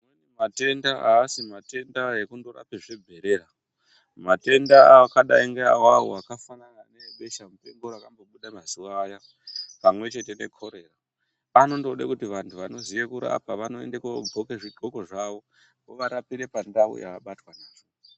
Matenda aasi matenda ekundorape zibherera, matenda akadai ngeawawo akafanana ngeebesha mupengo rakambobuda mazuwa aya pamwechete nekorera anondode kuti vantu vanoziye kurapa vanoende kodhxoke zvidhxoko zvavo vovarapire pandau yavabatwa nazvo.